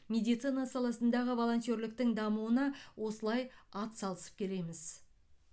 медицина саласындағы волонтерліктің дамуына осылай ат салысып келеміз